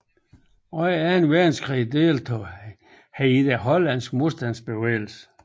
Under anden verdenskrig deltog han i den hollandske modstandsbevægelse